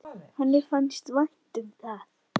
Henni fannst vænt um það.